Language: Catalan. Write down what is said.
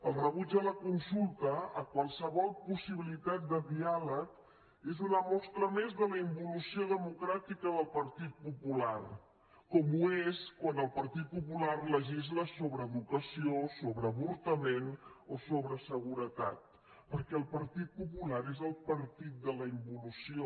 el rebuig de la consulta de qualsevol possibilitat de diàleg és una mostra més de la involució democràtica del partit popular com ho és quan el partit popular legisla sobre educació sobre avortament o sobre seguretat perquè el partit popular és el partit de la involució